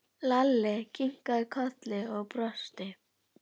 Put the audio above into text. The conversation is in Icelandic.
Lalli kinkaði kolli og brosti.